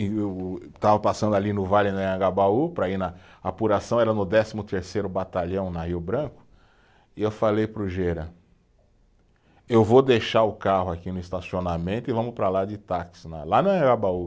Estava passando ali no Vale do Anhangabaú para ir na apuração, era no décimo terceiro Batalhão, na Rio Branco, e eu falei para o Gera, eu vou deixar o carro aqui no estacionamento e vamos para lá de táxi, na lá no Anhangabaú.